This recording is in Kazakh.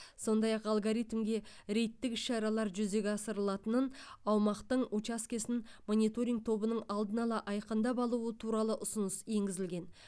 сондай ақ алгоритмге рейдтік іс шаралар жүзеге асырылатынын аумақтың учаскесін мониторинг тобының алдын ала айқындап алуы туралы ұсыныс енгізілген